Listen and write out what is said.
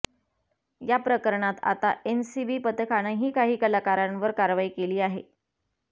या प्रकरणात आता एनसीबी पथकानंही काही कलाकारांवर कारवाई केली आहे